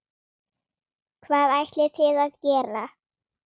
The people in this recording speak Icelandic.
Hvað ætlið þið að gera?